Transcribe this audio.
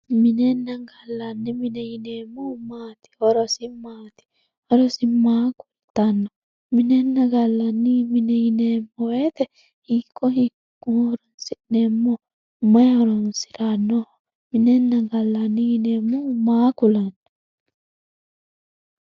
Minenna gallanni mine yineemmohu maati, horosi maati, horosi maa kultano, minenna gallanni mine yineemmo woyte hiikko hiikko horonsi'neemmoho mayi horonsiranoho ,minenna gallanni yineemmohu maa ku'lano